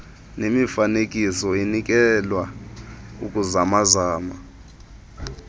nemifanekiso inikelwe ukuzamazamana